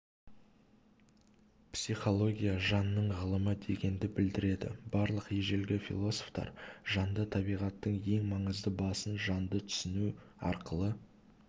психология жанның ғылымы дегенді білдіреді барлық ежелгі философтар жанды табиғаттың ең маңызды басын жанды түсіну арқылы